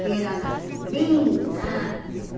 Que eram assim bem largos.